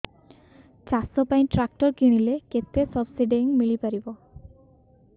ଚାଷ ପାଇଁ ଟ୍ରାକ୍ଟର କିଣିଲେ କେତେ ସବ୍ସିଡି ମିଳିପାରିବ